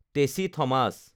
Tessy Thomas